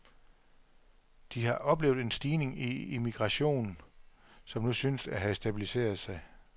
De har oplevet en stigning i immigration, som nu synes at have stabiliseret sig.